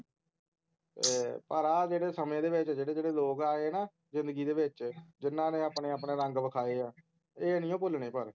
ਏ ਪਰ ਆ ਜਿਹੜੇ ਸਮੇਂ ਦੇ ਵਿਚ ਜਿਹੜੇ ਜਿਹੜੇ ਲੋਗ ਆਏ ਹੈਨਾ ਜ਼ਿੰਦਗੀ ਦੇ ਵਿਚ ਜਿੰਨਾ ਨੇ ਆਪਣੇ ਆਪਣੇ ਰੰਗ ਵਿਖਾਏ ਹੈਂ ਏ ਨੀ ਓ ਭੁੱਲਣੇ ਪਰ